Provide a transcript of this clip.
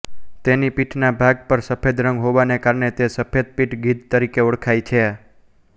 તેની પીઠના ભાગ પર સફેદ રંગ હોવાને કારણે તે સફેદ પીઠ ગીધ તરીકે ઓળખાય છે